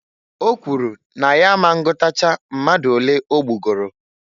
O kwuru na ya a ma ngụtacha mmadụ olee ogbugoro.